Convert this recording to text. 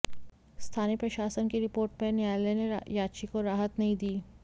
स्थानीय प्रशासन की रिपोर्ट पर न्यायालय ने याची को राहत नहीं दी